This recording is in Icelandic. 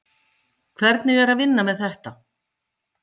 Hugrún Halldórsdóttir: Hvernig er að vinna með þetta?